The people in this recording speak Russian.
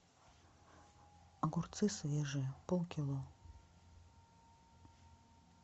огурцы свежие пол кило